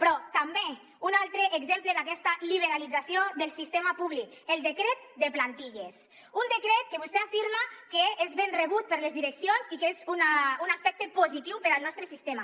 però també un altre exemple d’aquesta liberalització del sistema públic el decret de plantilles un decret que vostè afirma que és ben rebut per les direccions i que és un aspecte positiu per al nostre sistema